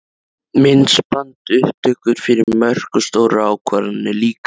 Myndbandsupptökur fyrir mörk og stórar ákvarðanir líka?